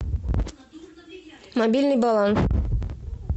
мобильный баланс